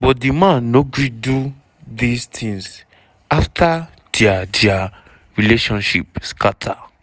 but di man no gree do these tins afta dia dia relationship scata.